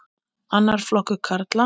Annar flokkur karla.